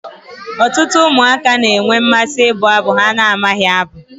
Ọtụtụ ụmụaka na-enwe mmasị ịbụ abụ ha na-amabughị